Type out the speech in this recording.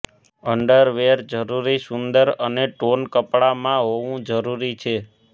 underwear જરૂરી સુંદર અને ટોન કપડામાં હોવું જરૂરી છે